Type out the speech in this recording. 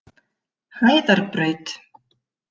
Hæðarbraut